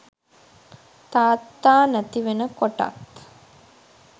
තාත්තා නැති වෙන කොටත්